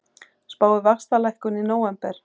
Spáir vaxtalækkun í nóvember